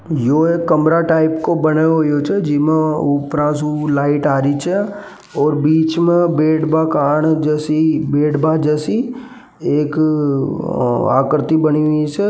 यो एक कमरा टाइप का बने होयो छे जिसमें उपरोसो लाइट आ रही छे बीच में बेड मकान जैसी बैठबा जैसी एक आकृति बनी हुई है।